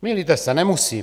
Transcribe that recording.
Mýlíte se, nemusí.